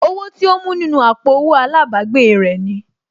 Owó tí ó mú nínú àpò owó àlábàgbèè rẹ̀ ni